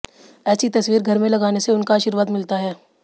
एेसी तस्वीर घर में लगाने से उनका आर्शीवाद मिलता है